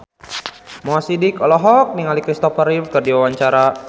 Mo Sidik olohok ningali Kristopher Reeve keur diwawancara